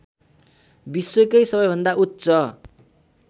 विश्वकै सबैभन्दा उच्च